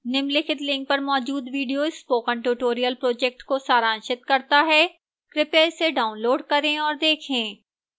निम्नलिखित link पर मौजूद video spoken tutorial project को सारांशित करता है कृपया इसे डाउनलोड करें और देखें